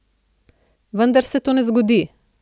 Vendar se to ne zgodi.